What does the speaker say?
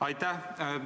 Aitäh!